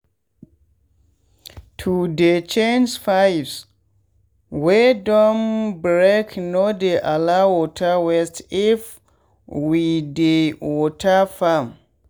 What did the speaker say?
to dey change pipes wey don breakno dey allow water waste if we dey water farm.